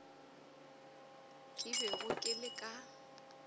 ke bego ke le ka